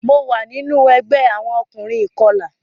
Mo wa ninu ẹgbẹ awọn ọkunrin ikọla.